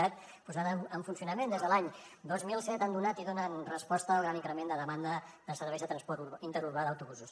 cat posada en funcionament des de l’any dos mil set han donat i donen resposta al gran increment de demanda de serveis de transport interurbà d’autobusos